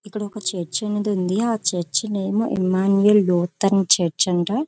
ఇక్కడ ఒక చర్చ్ అనేది ఉంది .ఆ చర్చ్ నేమ్ ఇమ్మానుయేల్ లోతన్ చర్చ్ అంట.